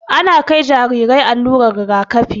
Ana kai Jarirai allurar rigakafi